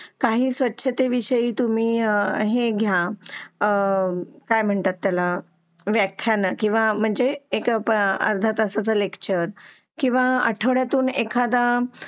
काही स्वच्छतेविषयी तुम्ही आह हे घ्या आह काय म्हणतात याला व्याख्याना किंवा म्हणजे एक अर्धा तासाच्या लेक्चर किंवा आठवड्यातून एखादा